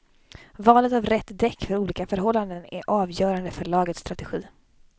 Valet av rätt däck för olika förhållanden är avgörande för lagets strategi.